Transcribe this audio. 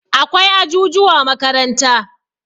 Akwai ajujuwa a makaranta.